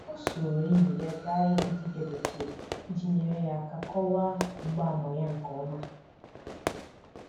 Ọ soro enyi ya gaa ịhụ dibia bekee iji nyere ya aka kọwaa mgbaàmà ya nke ọma.